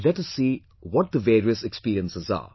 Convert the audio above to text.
Let us see what the various experiences are